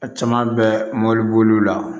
A caman bɛ mobiliboli la